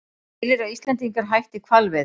Skilyrði að Íslendingar hætti hvalveiðum